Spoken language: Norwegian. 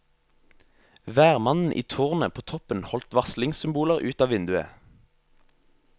Værmannen i tårnet på toppen holdt varslingssymboler ut av vinduet.